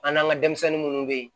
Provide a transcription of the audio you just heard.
An n'an ka denmisɛnnin munnu be yen